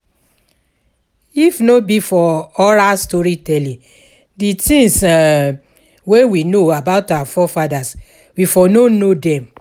If no be for oral story telling, di things um wey we know about our forefathers we for no know dem